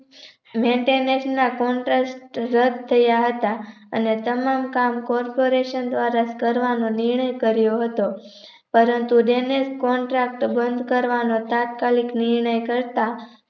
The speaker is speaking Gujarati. maintenance ના Contract રદ થયા હતા અને તમામ કામ Corporation દ્વારા કરવાનો નિર્ણય કર્યો હતો પરંતુ Drainage Contract બંધ કરવાનો તાત્કાલિક નિર્ણય કરતા